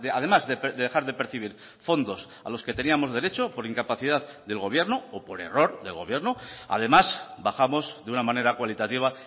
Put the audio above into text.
además de dejar de percibir fondos a los que teníamos derecho por incapacidad del gobierno o por error del gobierno además bajamos de una manera cualitativa